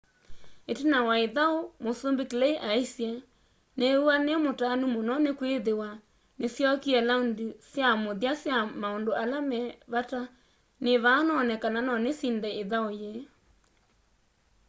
itina wa ithau musumbi clay aisye niiw'a nimutanu muno nikwithwa nisyokie laundi sya muthya sya maundu ala me vata nivaa none kana nonisinde ithau yii